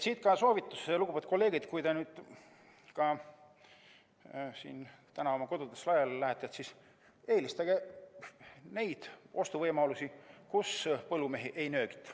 Siit ka soovitus, lugupeetud kolleegid: kui te täna siit oma kodudesse laiali lähete, siis eelistage neid ostuvõimalusi, millega põllumehi ei nöögita.